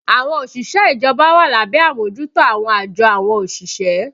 Àwọn òṣìṣẹ́ ìjọba wà lábẹ́ àmójútó àwọn àjọ àwọn òṣìṣẹ́